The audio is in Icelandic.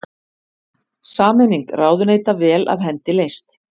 Sameining ráðuneyta vel af hendi leyst